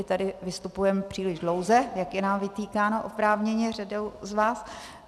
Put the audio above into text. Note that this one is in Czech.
I tady vystupujeme příliš dlouze, jak je nám vytýkáno oprávněně řadou z vás.